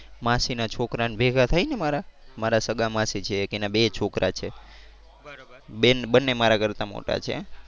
માસી ના છોકરા ને ભેગા થઈ ને મારા મારા સગા માસી છે એક એના બે છોકરા છે. બેન બંને મારા કરતાં મોટા છે.